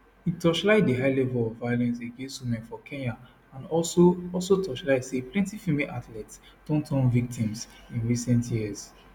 e torchlight di high level of violence against women for kenya and also also torchlight say plenti female athletes don turn victims in recent years